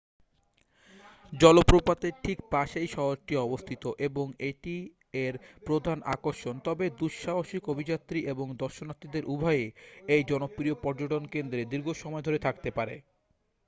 জলপ্রপাতের ঠিক পাশেই শহরটি অবস্থিত এবং এটিই এর প্রধান আকর্ষণ তবে দুঃসাহসিক অভিযাত্রী এবং দর্শনার্থীদের উভয়েই এই জনপ্রিয় পর্যটনকেন্দ্রে দীর্ঘসময় ধরে থাকতে পারে